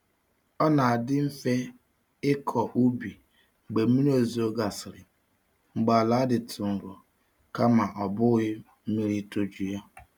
Ọ na-adị mfe ịkọ ubi mgbe mmiri ozuzo gasịrị mgbe ala dịtụ nro kama ọ bụghị mmiri itoju ya.